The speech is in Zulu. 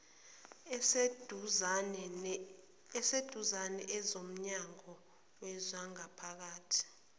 aseduzane ezomnyango wezangaphakathi